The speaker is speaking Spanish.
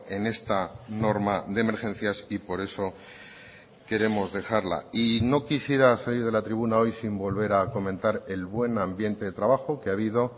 en esta norma de emergencias y por eso queremos dejarla y no quisiera salir de la tribuna hoy sin volver a comentar el buen ambiente de trabajo que ha habido